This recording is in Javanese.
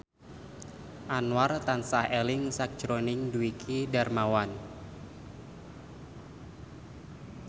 Anwar tansah eling sakjroning Dwiki Darmawan